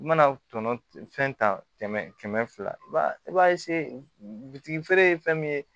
I mana tɔnɔ fɛn ta kɛmɛ kɛmɛ fila i b'a i b'a feere ye fɛn min ye